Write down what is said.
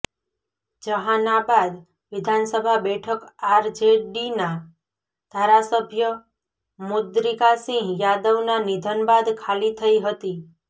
જહાનાબાદ વિધાનસભા બેઠક આરજેડીના ધારાસભ્ય મુદ્રિકાસિંહ યાદવના નિધન બાદ ખાલી થઈ હતી